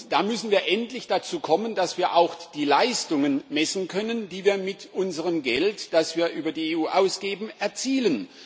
Da müssen wir endlich dazu kommen, dass wir auch die Leistungen messen können, die wir mit unserem Geld, das wir über die EU ausgeben, erzielen.